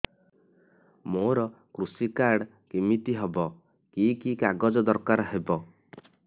ମୋର କୃଷି କାର୍ଡ କିମିତି ହବ କି କି କାଗଜ ଦରକାର ହବ